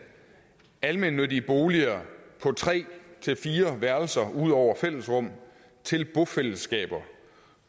almennyttige boliger på tre fire værelser ud over fællesrum til bofællesskaber